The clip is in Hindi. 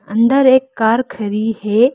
अंदर एक कार खड़ी है।